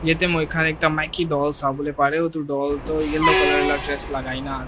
ete moi khan ekta maiki doll sawo le pare utu doll tu yellow colour la dress lagai ne ase.